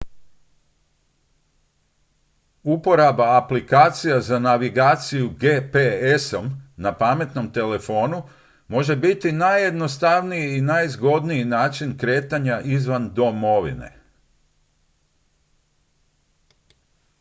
uporaba aplikacija za navigaciju gps-om na pametnom telefonu može biti najjednostavniji i najzgodniji način kretanja izvan domovine